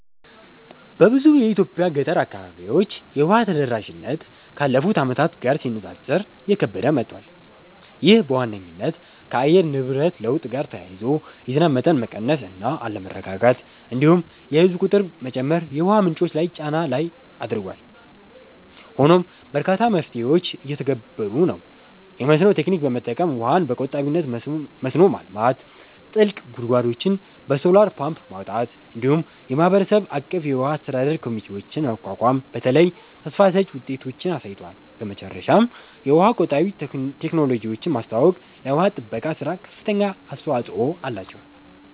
በብዙ የኢትዮጵያ ገጠር አካባቢዎች የውሃ ተደራሽነት ካለፉት ዓመታት ጋር ሲነጻጸር እየከበደ መጥቷል። ይህ በዋነኝነት ከአየር ንብረት ለውጥ ጋር ተያይዞ የዝናብ መጠን መቀነስ እና አለመረጋጋት፣ እንዲሁም የህዝብ ቁጥር መጨመር የውሃ ምንጮች ላይ ጫና ላይ አድርጓል። ሆኖም በርካታ መፍትሄዎች እየተተገበሩ ነው፤ የመስኖ ቴክኒክ በመጠቀም ውሃን በቆጣቢነት መስኖ ማልማት፣ ጥልቅ ጉድጓዶችን በሶላር ፓምፕ ማውጣት፣ እንዲሁም የማህበረሰብ አቀፍ የውሃ አስተዳደር ኮሚቴዎችን ማቋቋም በተለይ ተስፋ ሰጭ ውጤቶችን አሳይተዋል። በመጨረሻም የውሃ ቆጣቢ ቴክኖሎጂዎችን ማስተዋወቅ ለውሃ ጥበቃ ሥራ ከፍተኛ አስተዋጽኦ አላቸው።